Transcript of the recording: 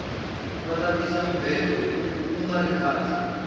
vata tisa mubhedo kungari khale